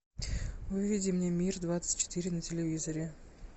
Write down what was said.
выведи мне мир двадцать четыре на телевизоре